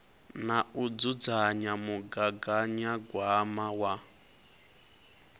na u dzudzanya mugaganyagwama wa